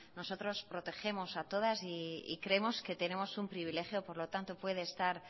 nosotros protegemos a todas y creemos que tenemos un privilegio por lo tanto puede estar